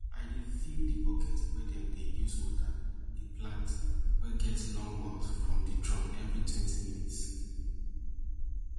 i dey fill di bucket wey dem dey use water di plant wey get long mouth from di drum every twenty minutes